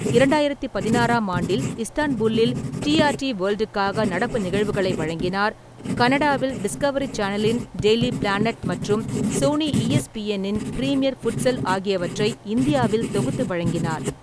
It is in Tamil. இரண்டாயிரத்து பதினாறாம் ஆண்டில், இஸ்தான்புல்லில் டி. ஆர். டி வேல்டுக்காக நடப்பு நிகழ்வுகளை வழங்கினார், கனடாவில் டிஸ்கவரி சேனலின் டெய்லி பிளானட் மற்றும் சோனி ஈஎஸ்பிஎன் இன் பிரீமியர் ஃபுட்சல் ஆகியவற்றை இந்தியாவில் தொகுத்து வழங்கினார்.